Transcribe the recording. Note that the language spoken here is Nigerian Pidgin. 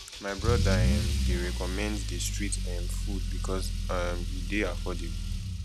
my brother um dey recommend di street um food because um e dey affordable